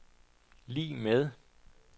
lig med